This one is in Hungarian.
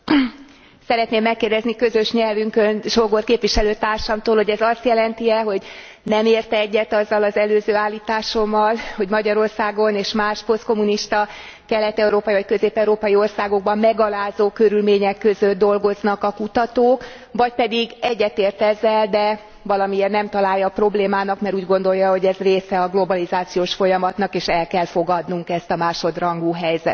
Szeretném megkérdezni közös nyelvünkön, Sógor képviselőtársamtól, hogy ez azt jeleni e, hogy nem ért egyet azzal az előző állításommal, hogy Magyarországon és más posztkommunista kelet európai vagy közép európai országokban megalázó körülmények között dolgoznak a kutatók, vagy pedig egyet ért ezzel, de valamiért nem találja problémának, mert úgy gondolja, hogy ez része a globalizációs folyamatnak és el kell fogadnunk ezt a másodrangú helyzetet.